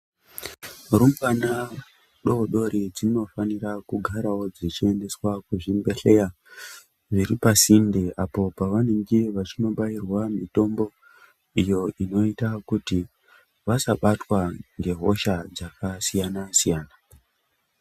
Rumbwana dodori dzinofanira kugara dzichiendeswawo kuzvibhehlera zviripasinde, apo pavanenge vachibairwe mitombo iyo inoita kuti vasabatwa nehosha dzakasiyana-siyana.